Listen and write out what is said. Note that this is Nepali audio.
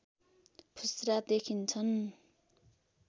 फुस्रा देखिन्छन्